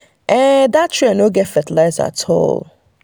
dat trial no get fertiliser at um all. um